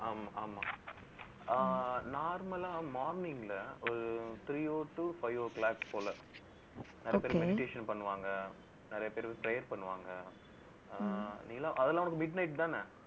ஆமா. ஆமா ஆமா ஆஹ் normal ஆ morning ல, ஒரு three o to five o clock போல நிறைய பேர் meditation பண்ணுவாங்க. நிறைய பேர் prayers பண்ணுவாங்க. ஆஹ் அதெல்லாம் உனக்கு midnight தானே